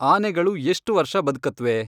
ಆನೆಗಳು ಎಷ್ಟ್ ವರ್ಷ ಬದ್ಕತ್ವೆ